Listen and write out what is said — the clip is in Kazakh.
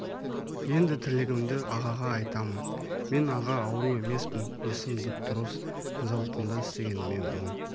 енді тілегімді ағаға айтамын мен аға ауру емеспін есім дұп-дұрыс зауытында істегеніме он